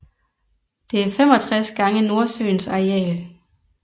Det er 65 gange Nordsøens areal